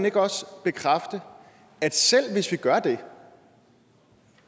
ikke også bekræfte at selv hvis vi gør det